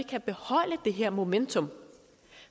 kan beholde det her momentum